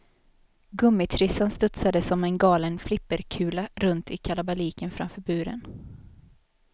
Gummitrissan studsade som en galen flipperkula, runt i kalabaliken framför buren.